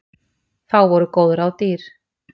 Þá voru góð ráð dýr.